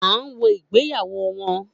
A n wo ìgbéyàwó wọn